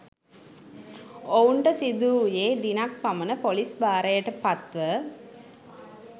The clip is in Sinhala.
ඔවුන්ට සිදු වූයේ දිනක්‌ පමණ පොලිස්‌ භාරයට පත්ව